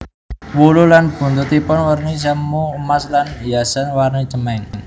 Wulu lan buntutipun werni semu emas lan hiasan warni cemeng